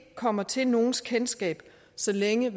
kommer til nogens kendskab så længe